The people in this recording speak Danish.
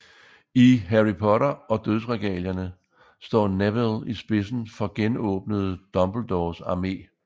I Harry Potter og Dødsregalierne står Neville i spidsen for genåbnede Dumbledores Armé